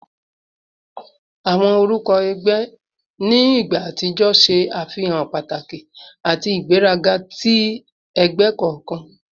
Awọn orukọ ẹgbẹ ni igba atijọ ṣe afihan pataki ati igberaga ti ẹgbẹ kọọkan